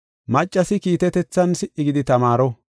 Maccasi kiitetethan si77i gidi tamaaro.